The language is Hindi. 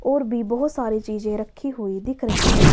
और भी बहोत सारी चीजें रखी हुई दिख रही है।